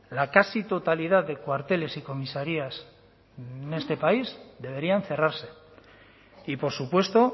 la casi totalidad de cuarteles y comisarías en este país deberían cerrarse y por supuesto